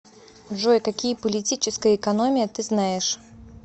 джой какие политическая экономия ты знаешь